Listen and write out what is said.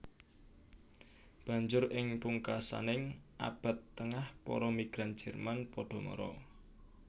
Banjur ing pungkasaning Abad Tengah para migran Jerman padha mara